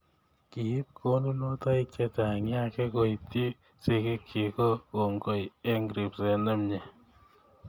Kiip konunotoiik chechang Yake koityi sigiikchi ko koongoi eng ribseet ne mie.